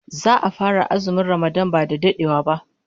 Za'a fara azumin Ramadan ba dadewa